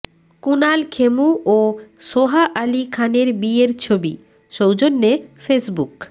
কুনাল খেমু ও সোহা আলি খানের বিয়ের ছবি সৌজন্যে ফেসবুক